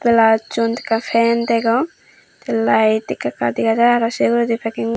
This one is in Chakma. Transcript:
blaussun ekka fen degong tey lait ekka ekka dega jai araw sey uguredi peking .